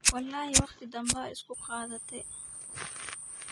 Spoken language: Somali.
Walaxi waqti badaan ikuqadhatey.